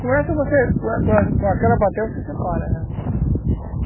Com essa você, com com aquela bateia você separa ela